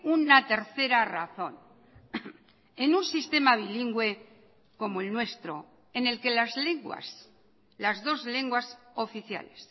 una tercera razón en un sistema bilingüe como el nuestro en el que las lenguas las dos lenguas oficiales